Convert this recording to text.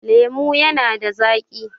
lemo yana da zaki